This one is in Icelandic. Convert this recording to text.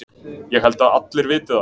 Ég held að allir viti það.